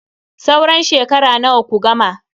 Sauran shekara nawa ku gama?